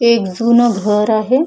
हे एक जून घर आहे.